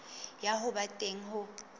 ya ho ba teng ho